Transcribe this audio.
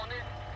Onu izlə.